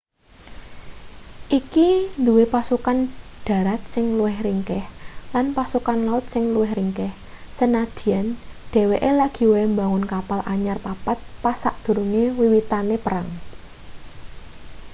iki duwe pasukan dharat sing luwih ringkih lan pasukan laut sing luwih ringkih sanadyan dheweke lagi wae mbangun kapal anyar papat pas sadurunge wiwitane perang